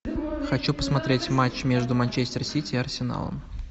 хочу посмотреть матч между манчестер сити и арсеналом